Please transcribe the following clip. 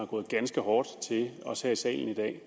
gå ganske hårdt til os her i salen i dag